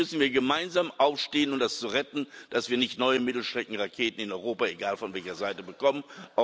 Hier müssen wir gemeinsam aufstehen, um das zu retten, damit wir nicht neue Mittelstreckenraketen in Europa egal von welcher Seite bekommen.